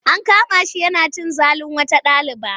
An kama shi yana cin zalin wata ɗaliba.